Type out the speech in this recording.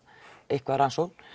eitthvað rannsóknina